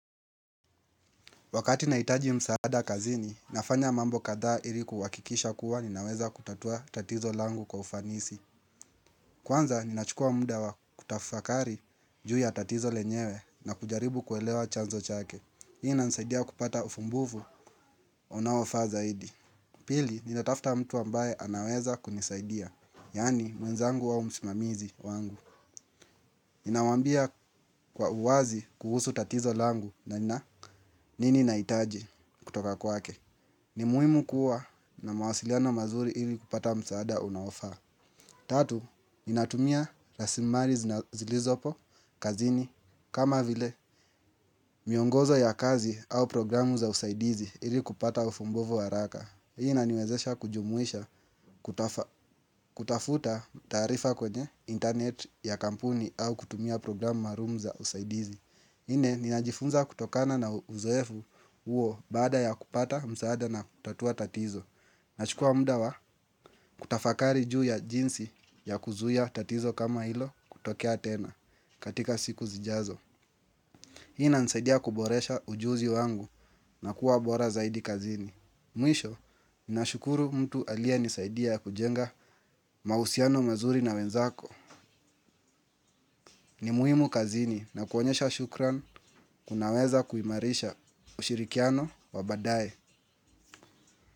Wakati naitaji msaada kazini, nafanya mambo katha ili kuhakikisha kuwa ninaweza kutatua tatizo langu kwa ufanisi. Kwanza, ninachukua muda kutafakari ju ya tatizo lenyewe na kujaribu kuelewa chanzo chake. Hii inanisaidia kupata ufumbuvu, onaofaa zaidi. Pili, ninatafta mtu ambaye anaweza kunisaidia, yani mwenzangu au msimamizi wangu. Ninawaambia kwa uwazi kuhusu tatizo langu na nina nini naitaji kutoka kwake. Ni muhimu kuwa na mawasiliano mazuri ili kupata msaada unaofa. Tatu, ninatumia rasimali zilizopo, kazini kama vile, miongozo ya kazi au programu za usaidizi ili kupata ufumbuvu haraka. Hii inaniwezesha kujumuisha kutafuta tarifa kwenye internet ya kampuni au kutumia programu maalumu za usaidizi nne ninajifunza kutokana na uzoefu huo baada ya kupata msaada na kutatua tatizo. Nachukua muda wa kutafakari juu ya jinsi ya kuzuia tatizo kama hilo kutokea tena katika siku zijazo. Hii inanisaidia kuboresha ujuzi wangu na kuwa bora zaidi kazini. Mwisho ninashukuru mtu aliyenisaidia kujenga mausiano mazuri na wenzako. Ni muhimu kazini na kuonyesha shukran kunaweza kuimarisha ushirikiano wa badaye.